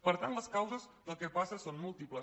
per tant les causes del que passa són múltiples